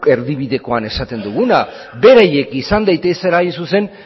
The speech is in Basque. erdibidekoan esaten duguna beraiek izan daitezela hain zuzen